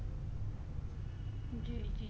ਜੀ ਜੀ